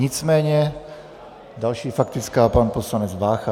Nicméně další faktická, pan poslanec Vácha.